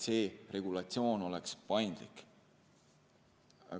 See regulatsioon oleks paindlik.